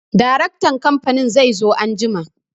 Daraktan kamfanin zai zo anjima.